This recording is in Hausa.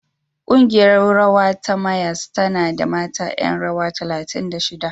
Ƙungiyar rawa ta Mayyas tana da mata ƴan rawa talatin da shida.